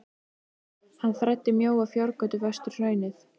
Hann þræddi mjóa fjárgötu vestur hraunið.